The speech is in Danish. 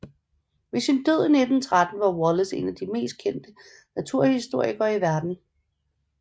Ved sin død i 1913 var Wallace en af de mest kendte naturhistorikere i verden